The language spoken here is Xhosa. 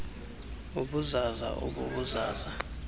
ubuzaza ob buzaza